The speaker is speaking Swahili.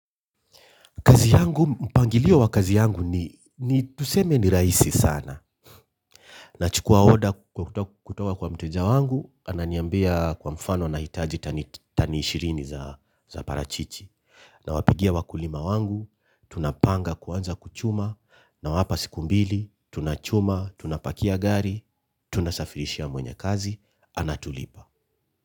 Kazi yangu, mpangilio wa kazi yangu, ni tuseme ni rahisi sana. Nachukua oda kutoka kwa mteja wangu, ananiambia kwa mfano anahitaji tani ishirini za parachichi. Nawapigia wakulima wangu, tunapanga kuanza kuchuma, nawapa siku mbili, tunachuma, tunapakia gari, tunasafirishia mwenye kazi, anatulipa.